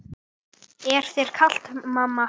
Er þér kalt mamma?